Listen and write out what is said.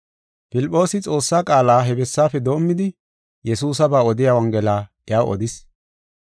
Filphoosi, Xoossa qaala he bessaafe doomidi, Yesuusaba odiya Wongela iyaw odis.